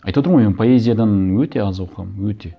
айтып отырмын ғой мен поэзиядан өте аз оқығанмын өте